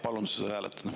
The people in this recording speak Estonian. Palun seda hääletada.